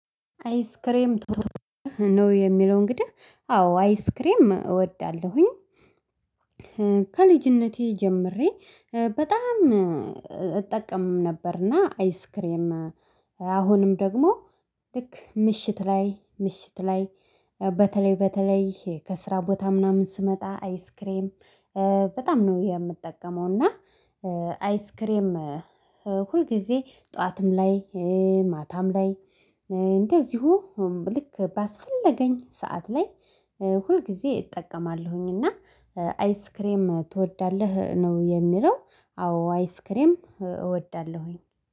አይስክሬም ነው? የሚለው እንግዲህ አዎ አይስክሬም እወዳለሁኝ። አይስክሬም ነው? የሚለው እንግዲህ አዎ አይስክሬም እወዳለሁኝ። በተለይ በተለይ ከስራ ቦታ ምናም ስመጣ አይስክሬም በጣም ነው የምጠቀመው እና አይስክሬም ሁልጊዜ ጠዋትም ላይ ማታም ላይ እንደዚሁ ልክ ባስፈለገኝ ሰዓት ላይ ሁልጊዜ እጠቀማለሁኝ እና አይስክሬም ትወዳለህ ነው የሚለው አዎ አይስክሬም እወዳለሁኝ